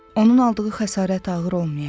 Onun aldığı xəsarət ağır olmayacaq.